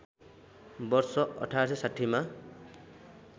वर्ष १८६० मा